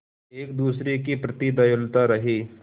एक दूसरे के प्रति दयालु रहें